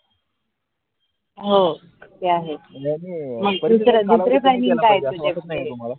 हो ते आहे दुसरे दुसरे planning काये तुझ्याकडे